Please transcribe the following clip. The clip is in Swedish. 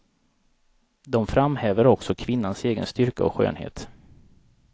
De framhäver också kvinnans egen styrka och skönhet.